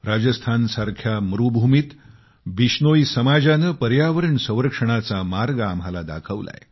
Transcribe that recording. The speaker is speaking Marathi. राजस्थानसारख्या मरूभूमीत विश्नोई समाजाने पर्यावरण संरक्षणाचा मार्ग आम्हाला दाखवलाय